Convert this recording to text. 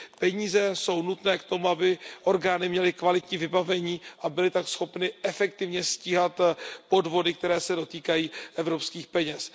Peníze jsou nutné k tomu, aby orgány měly kvalitní vybavení a byly tak schopny efektivně stíhat podvody, které se dotýkají evropských peněz.